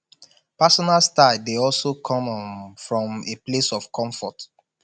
personal style de also come um from a place of comfort